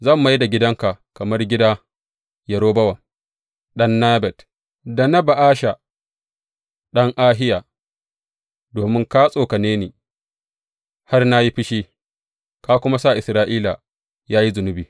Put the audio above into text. Zan mai da gidanka kamar gida Yerobowam ɗan Nebat, da na Ba’asha ɗan Ahiya, domin ka tsokane ni har na yi fushi, ka kuma sa Isra’ila ya yi zunubi.’